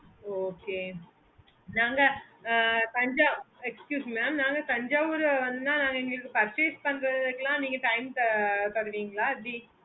okay நாங்க excuse me mam நாங்க Tanjavur வந்தா நாங்க purchase பண்றதுக்கெல்லாம் நீங்க time தருவீர்களா எப்பிடி